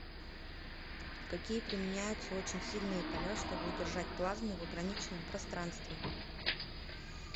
какие применяются очень сильные поля чтобы удержать плазму в ограниченном пространстве